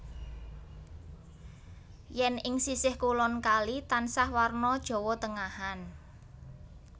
Yèn ing sisih kulon kali tansah warna Jawa Tengahan